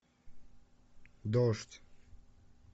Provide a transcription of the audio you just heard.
дождь